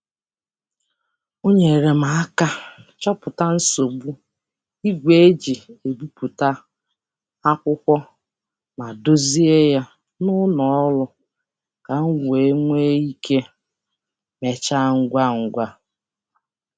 O nyeere m aka chọpụta nsogbu igwe e ji ebipụta akwụkwọ ma dozie ya n'ụlọ ọrụ ka m wee nwee ike mechaa ngwa ngwa.